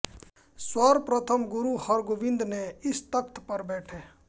सर्वप्रथम गुरु हरगोबिन्द ने इस तख़्त पर बैठे